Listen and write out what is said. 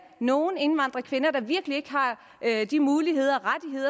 nogle indvandrerkvinder der virkelig ikke har de muligheder